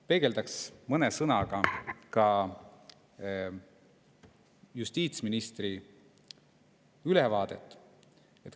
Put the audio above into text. Peegeldaks mõne sõnaga ka justiitsministri ülevaadet.